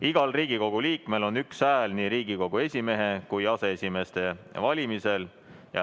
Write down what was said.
Igal Riigikogu liikmel on üks hääl nii Riigikogu esimehe kui aseesimeeste valimisel.